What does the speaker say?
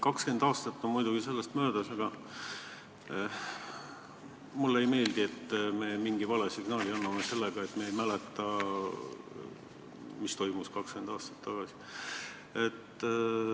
20 aastat on möödas, aga mulle ei meeldi, et me anname mingi vale signaali sellega, et me ei mäleta, mis toimus 20 aastat tagasi.